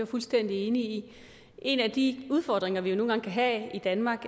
fuldstændig enig i en af de udfordringer vi nogle gange kan have i danmark